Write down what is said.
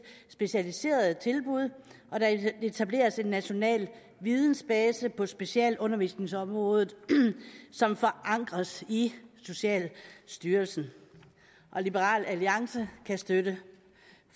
specialiserede tilbud og der etableres en national vidensbase på specialundervisningsområdet som forankres i socialstyrelsen liberal alliance kan støtte